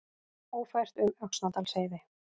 Ófært um Öxnadalsheiði